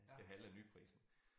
Det halve af nyprisen